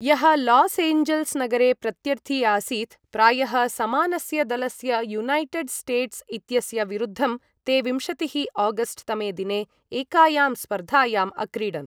यः Los Angeles नगरे प्रत्यर्थी आसीत् प्रायः समानस्य दलस्य युनैटेड् स्टेट्स् इत्यस्य विरुद्धं ते विंशतिः आगस्ट् तमे दिने एकायां स्पर्धायाम् अक्रीडन्